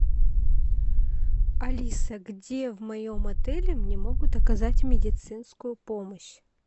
алиса где в моем отеле мне могут оказать медицинскую помощь